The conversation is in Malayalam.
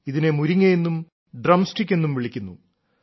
ഇതിനെ മുരിങ്ങയെന്നും ഡ്രം സ്റ്റിക് എന്നും വിളിക്കുന്നു